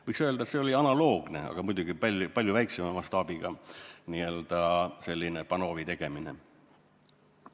Võiks öelda, et see oli analoogne, kuigi muidugi palju väiksema mastaabiga n-ö selline Panovi tegemine.